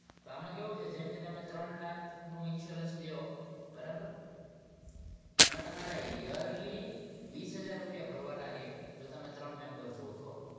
તો આમાં કેવું છે જેમ કે તમે ત્રણ લાખનો insurance લ્યો બરાબર તો એમાં તમારે યર્લી વીસ હજાર રૂપિયા ભરવાના રે જો તમે ત્રણ member છો તો